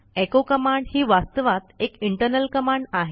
echo command ही वास्तवात एक इंटरनल कमांड आहे